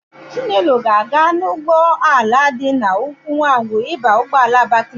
Chinelo ga-aga n'ọdụ ụgbọala dị n'Ukwunwangwu ịba ụgbọala Abakaliki.